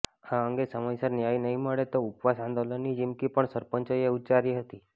આ અંગે સમયસર ન્યાય નહીં મળે તો ઉપવાસ આંદોલનની ચીમકી પણ સરપંચોએ ઉચ્ચારી હતી